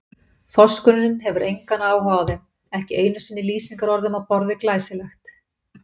Þorskurinn hefur engan áhuga á þeim, ekki einu sinni lýsingarorðum á borð við glæsilegt.